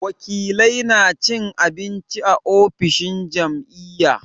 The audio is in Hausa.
Wakilai na cin abinci a ofishin jam'iyya.